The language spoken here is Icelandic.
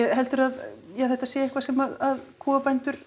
heldurðu að þetta sé eitthvað sem kúabændur